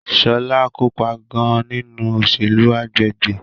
Shola kopa gan-an ninu oselu agbegbe